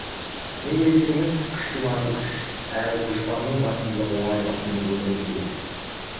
неге десеңіз күштің аты күш әрі дұшпанның басымдылығы оңай басымдылық емес еді